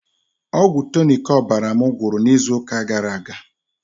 Ọgwụ Tụnic ọbara mụ gwụrụ na izụ ụka gara aga.